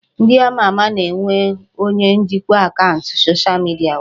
Ndị ama ama na-enwe onye njikwa akaụntụ soshal midia ha